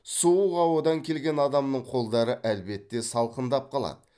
суық ауадан келген адамның қолдары әлбетте салқындап қалады